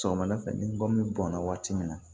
Sɔgɔmada fɛ ni gɔmi bɔnna waati min na